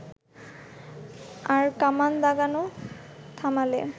আর কামান দাগানো থামালে